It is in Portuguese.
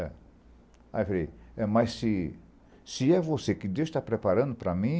Aí eu falei, mas se se é você que Deus está preparando para mim,